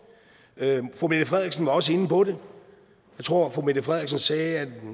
fru mette frederiksen var også inde på det jeg tror fru mette frederiksen sagde at